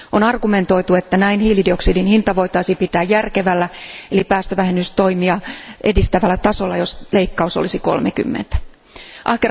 On argumentoitu, että hiilidioksidin hinta voitaisiin pitää järkevällä, eli päästövähennystoimia edistävällä tasolla, jos leikkaus olisi 30 prosenttia.